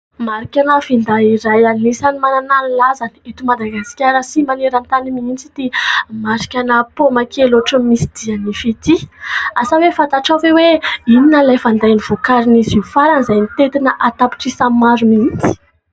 Marika ana finday iray anisan'ny manana ny lazany eto Madagasikara sy maneran-tany mihitsy ity marika ana paoma kely ohatra ny misy dia-nify ity. Asa hoe fantatrao ve hoe inona ilay finday novokarin'izy io farany, izay mitentina an-tapitrisany maro mihitsy ?